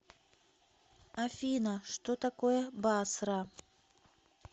афина что такое басра